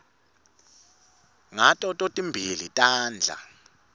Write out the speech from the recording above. ngato totimbili tandla